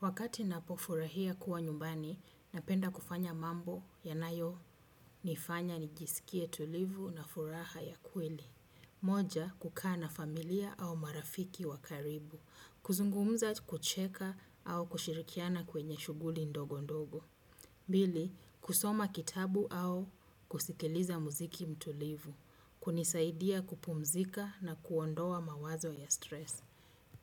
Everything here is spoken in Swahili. Wakati napofurahi kuwa nyumbani napenda kufanya mambo yanayo nifanya nijisikie tulivu na furaha ya kweli. Moja, kukana familia au marafiki wakaribu. Kuzungumza kucheka au kushirikiana kwenye shughuli ndogo ndogo. Bili, kusoma kitabu au kusikiliza muziki mtulivu. Hunisaidia kupumzika na kuondoa mawazo ya stress.